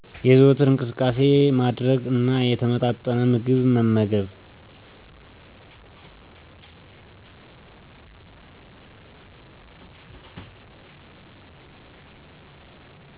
የዘወትር እንቅስቃሴ ማድረግ እና የተመጣጠነ ምግብ መመገብ።